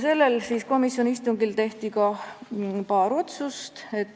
Sellel komisjoni istungil tehti ka paar otsust.